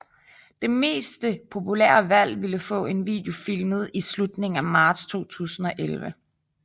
Det meste populære valg ville få en video filmet i slutningen af marts 2011